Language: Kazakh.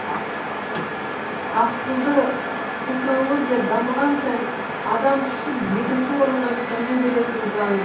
ақылды технология дамыған сайын адам күші екінші орынға сырғи беретіні заң